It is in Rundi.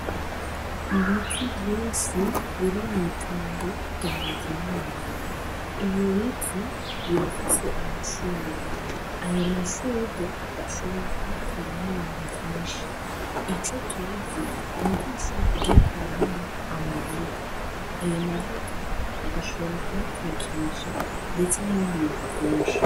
Ibiti vyinsi biri mw'itongo rya rizimana ibyo biti birafise amaserwe ayo maserwe bashobore ukubakuran'ibintu vyinshi ico tuzi ni uko nsakugikuramo amavuta ayo mavuta bagashoborako tekersha, ndetse n'ibidiyekuvyinshi.